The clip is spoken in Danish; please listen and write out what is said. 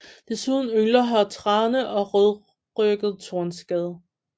Desuden yngler her trane og rødrygget tornskade